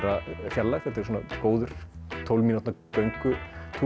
fjarlægð þetta er góður tólf mínútna göngutúr